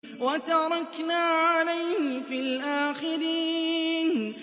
وَتَرَكْنَا عَلَيْهِ فِي الْآخِرِينَ